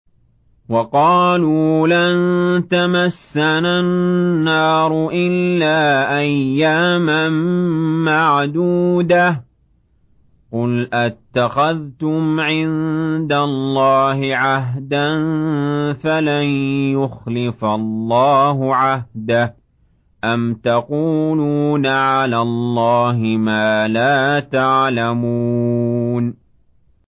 وَقَالُوا لَن تَمَسَّنَا النَّارُ إِلَّا أَيَّامًا مَّعْدُودَةً ۚ قُلْ أَتَّخَذْتُمْ عِندَ اللَّهِ عَهْدًا فَلَن يُخْلِفَ اللَّهُ عَهْدَهُ ۖ أَمْ تَقُولُونَ عَلَى اللَّهِ مَا لَا تَعْلَمُونَ